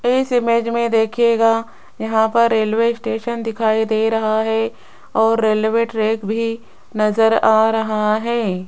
इस इमेज में दिखेगा यहां पर रेलवे स्टेशन दिखाई दे रहा है और रेलवे ट्रैक भी नजर आ रहा है।